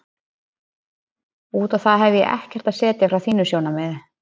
Út á það hefi ég ekkert að setja frá þínu sjónarmiði.